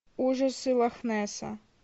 ужасы лохнесса